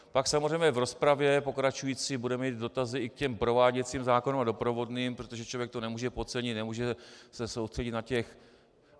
Pak samozřejmě v rozpravě pokračující budeme mít dotazy i k těm prováděcím zákonům a doprovodným, protože člověk to nemůže podcenit, nemůže se soustředit na těch...